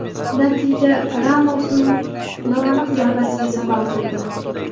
Natija Ramosning noaniq zarbasiga sabab bo‘ldi.